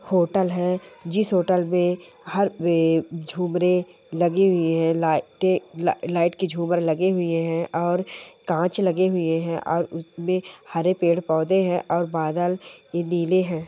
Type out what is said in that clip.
Hotel है जिस hotel में हर वे झुमरे लगी हुए हैं लाइटें ल-ल-लाइट के झूमर लगे हुए हैं और कांच लगे हुए हैं और उस हरे पेड़ पौधे हैं और बादल नीले है। .